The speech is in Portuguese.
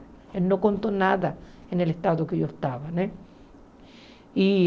Ele não contou nada no estado que eu estava, né? E